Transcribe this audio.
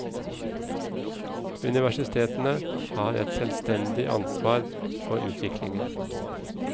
Universitetene har et selvstendig ansvar for utviklingen.